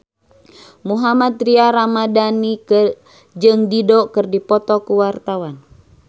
Mohammad Tria Ramadhani jeung Dido keur dipoto ku wartawan